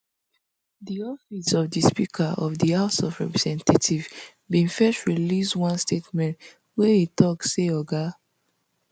di office of di speaker of di house of representatives bin first release one statement wia e tok say oga